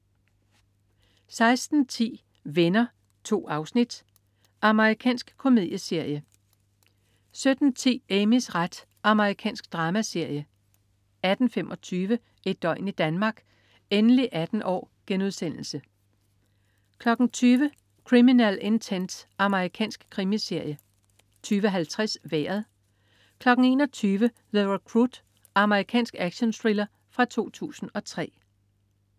16.10 Venner. 2 afsnit. Amerikansk komedieserie 17.10 Amys ret. Amerikansk dramaserie 18.25 Et døgn i Danmark: Endelig 18 år!* 20.00 Criminal Intent. Amerikansk krimiserie 20.50 Vejret 21.00 The Recruit. Amerikansk actionthriller fra 2003